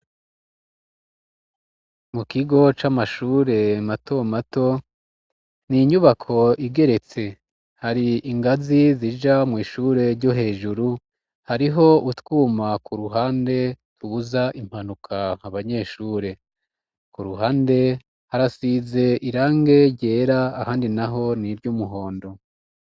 Mu kigo c'amashure mato mato, n'inyubako igeretse, hari ingazi zija mw'ishure ryo hejuru, hariho utwuma ku ruhande tubuza impanuka abanyeshure, ku ruhande harasize irangi ryera ahandi naho n'iryumuhondo.